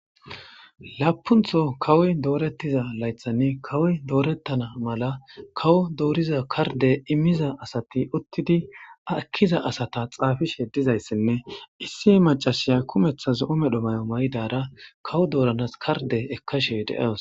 laapuntho kawoy doorettiza laythanni kawoy doorettana mala kawo dooriza karde immiza asati uttidi akkiza asata xaafishe dizayssinne issie macashiya kumeththa zo7o medho may7o may7dara kawo dooranas karde ekkashe de7awos